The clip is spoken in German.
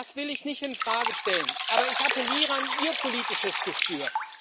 Das will ich nicht in Frage stellen, aber ich appelliere an Ihr politisches Gespür.